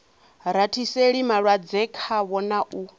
rathiseli malwadze khavho na u